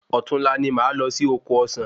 Òtún la ni máa lọ sí oko ọsán